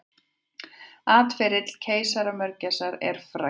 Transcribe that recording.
Atferli keisaramörgæsar er frægt.